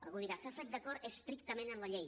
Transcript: algú dirà s’ha fet d’acord estrictament amb la llei